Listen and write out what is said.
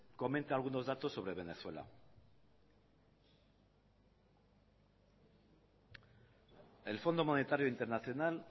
comente algunos datos sobre venezuela el fondo monetario internacional